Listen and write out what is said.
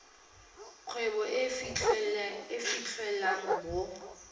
kgwebo e e fitlhelwang mo